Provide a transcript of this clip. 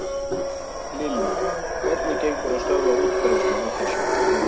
Lillý: Hvernig gengur að stöðva útbreiðslu á þessu?